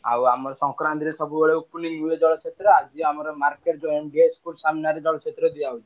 ଆଉ ଆମ ସଂକ୍ରାନ୍ତିରେ ସବୁବେଳେ opening ହୁଏ ଜଳଛତ୍ର ଆଜି ଆମର market କୁ school ସାମ୍ନାରେ ଜଳଛତ୍ର ଦିଆହଉଛି।